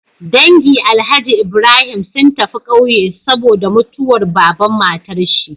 Dangi alhaji Ibrahim sun tafi ƙauye saboda mutuwar baban matar shi